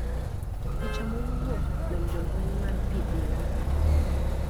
Picha mowuok kuom jolweny mar pi Dhiwa .